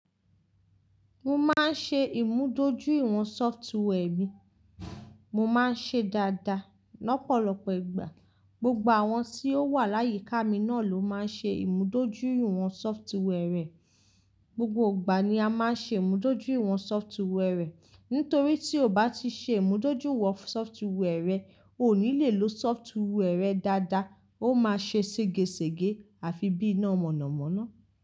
Mo máa ń ṣe ìmúdójúìwọ̀n software mi, mo máa ń ṣe dáadáa lọ́pọ̀lọpọ̀ ìgbà. Gbogbo àwọn tí ó wà láyíká mi náà ló máa ń ṣe ìmúdójúìwọ̀n software rẹ̀. Gbogbo ìgbà ni a máa ń ṣe ìmúdójúìwọ̀n software rẹ̀. Nítorí tí o bá ti ṣe ìmúdójúìwọ̀n software rẹ, o ò ní le lo software rẹ dáadáa, ó máa ṣe ségesège àfi bí iná mọ̀nàmọ́ná.